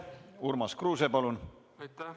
Urmas Kruuse, palun!